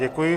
Děkuji.